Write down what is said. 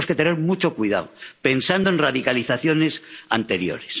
Y tenemos que tener mucho cuidado, pensando en radicalizaciones anteriores.